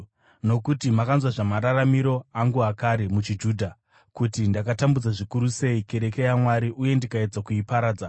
Nokuti makanzwa zvamararamiro angu akare muchiJudha, kuti ndakatambudza zvikuru sei kereke yaMwari uye ndikaedza kuiparadza.